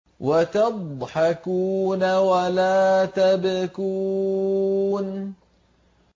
وَتَضْحَكُونَ وَلَا تَبْكُونَ